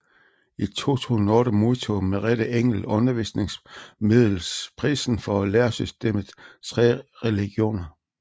I 2008 modtog Merete Engel Undervisningsmiddelprisen for læresystemet Tre religioner